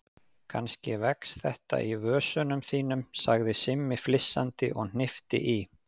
Kannski vex þetta í vösunum þínum sagði Simmi flissandi og hnippti í